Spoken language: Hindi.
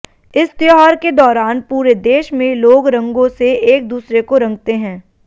इस त्यौहार के दौरान पूरे देश में लोग रंगो से एक दूसरे को रंगते हैं